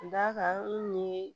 Dakan ni